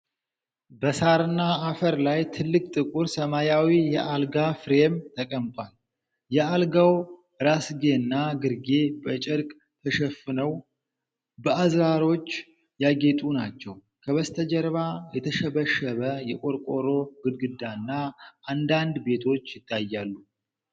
በሳርና አፈር ላይ ትልቅ ጥቁር ሰማያዊ የአልጋ ፍሬም ተቀምጧል። የአልጋው ራስጌና ግርጌ በጨርቅ ተሸፍነው በአዝራሮች ያጌጡ ናቸው። ከበስተጀርባ የተሸበሸበ የቆርቆሮ ግድግዳና አንዳንድ ቤቶች ይታያሉ።